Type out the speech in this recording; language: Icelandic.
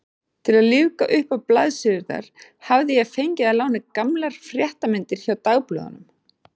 Til að lífga uppá blaðsíðurnar hafði ég fengið að láni gamlar fréttamyndir hjá dagblöðunum.